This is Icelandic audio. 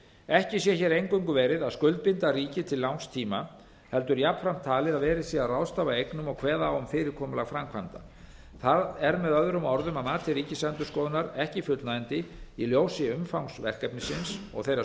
ekki sé hér eingöngu verið að skuldbinda ríkið til langs tíma heldur jafnframt talið að verið sé að ráðstafa eignum og kveða á um fyrirkomulag framkvæmda það er með öðrum orðum að mati ríkisendurskoðunar ekki fullnægjandi í ljósi umfangs verkefnisins og þeirra